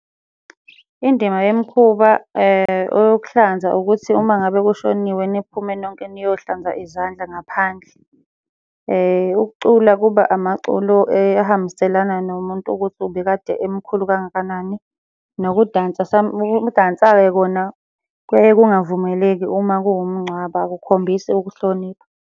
Indima yemikhuba eyokuhlanza ukuthi uma ngabe kushoniwe niphume nonke niyohlanza izandla ngaphandle. Ukucula kuba amaculo ahambiselana nomuntu ukuthi ubekade emkhulu kangakanani. Nokudansa ukudansa-ke kona kuyaye kungavumeleki uma kuwumngcwabo akukhombisi ukuhlonipha.